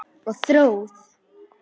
Og Þórð.